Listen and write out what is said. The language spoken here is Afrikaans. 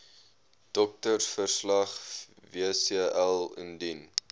doktersverslag wcl indien